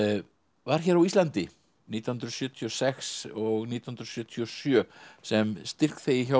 var hér á Íslandi nítján hundruð sjötíu og sex og nítján hundruð sjötíu og sjö sem styrkþegi hjá